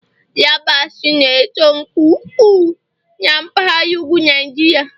yabasị na-eto nke ukwuu na mpaghara ugwu Niajiria